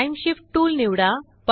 time shift tool निवडा